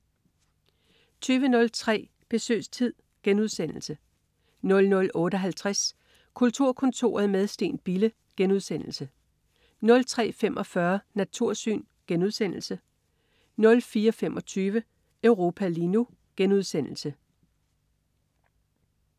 20.03 Besøgstid* 00.58 Kulturkontoret med Steen Bille* 03.45 Natursyn* 04.25 Europa lige nu*